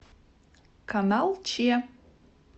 канал че